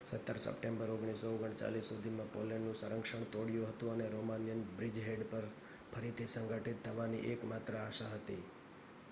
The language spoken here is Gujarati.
17 સપ્ટેમ્બર 1939 સુધીમાં પોલેન્ડનું સંરક્ષણ તોડ્યું હતું અને રોમાનિયન બ્રિજહેડ પર ફરીથી સંગઠિત થવાની એક માત્ર આશા હતી